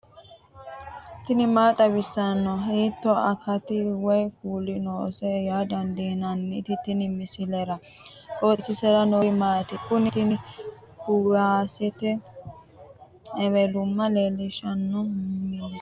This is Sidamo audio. tini maa xawissanno ? hiitto akati woy kuuli noose yaa dandiinanni tenne misilera? qooxeessisera noori maati? kuni tini kuwasete ewelumma leellishshanno misileeti